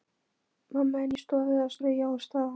Mamma inni í stofu að strauja og staga.